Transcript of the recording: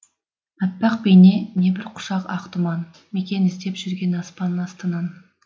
аппақ бейне не бір құшақ ақ тұман мекен іздеп жүрген аспан астынан